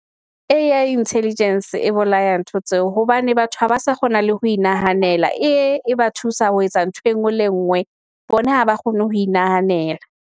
A_I Intelligence e bolaya ntho tseo hobane batho haba sa kgona le ho inahanela, A_I e ba thusa ho etsa ntho engwe le ngwe. Bona ha ba kgone ho inahanela.